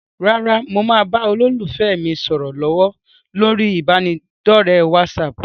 Rárá, mo ń bá olólùfẹ́ mi sọ̀rọ̀ lọ́wọ́ lórí ibanidọ̀rẹ́ "wásààpù".